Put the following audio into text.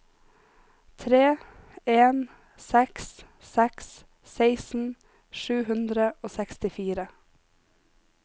tre en seks seks seksten sju hundre og sekstifire